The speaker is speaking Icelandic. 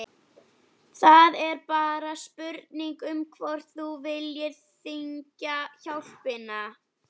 Það er bara spurning um hvort þú viljir þiggja hjálpina.